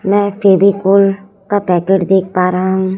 मैं फेविकोल का पैकेट देख पा रहा हूं।